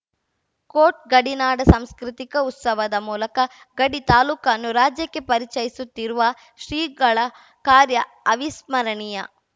coat ಗಡಿನಾಡ ಸಾಂಸ್ಕೃತಿಕ ಉತ್ಸವದ ಮೂಲಕ ಗಡಿ ತಾಲೂಕನ್ನು ರಾಜ್ಯಕ್ಕೆ ಪರಿಚಯಿಸುತ್ತಿರುವ ಶ್ರೀಗಳ ಕಾರ್ಯ ಅವಿಸ್ಮರಣೀಯ